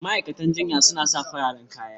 Ma'aikatan jinya suna sa fararen kaya